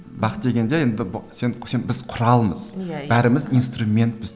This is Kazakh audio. бақ дегенде енді сен сен біз құралмыз иә иә бәріміз инструментпіз